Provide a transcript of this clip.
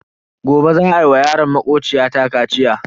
Gobe za a wa yaron makociya ta kaciya.